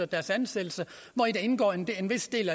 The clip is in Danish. deres ansættelse hvori der indgår en vis del